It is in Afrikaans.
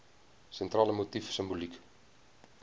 sentrale motief simboliek